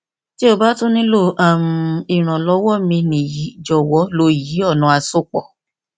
ti o ba tun nilo um iranlọwọ mi ni yi jọwọ lo yi ọna asopọ